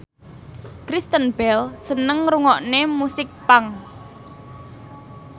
Kristen Bell seneng ngrungokne musik punk